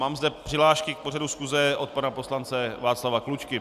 Mám zde přihlášky k pořadu schůze - od pana poslance Václava Klučky.